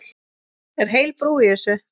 Er heil brú í þessu?